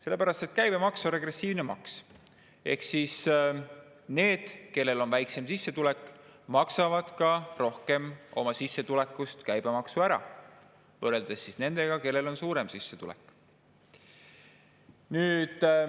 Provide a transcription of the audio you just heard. Sellepärast, et käibemaks on regressiivne maks, ehk need, kellel on väiksem sissetulek, maksavad ka rohkem oma sissetulekust käibemaksu ära võrreldes nendega, kellel on suurem sissetulek.